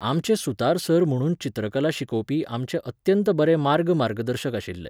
आमचे सुतार सर म्हणून चित्रकला शिकोवपी आमचे अत्यंत बरे मार्गदर्शक आशिल्ले.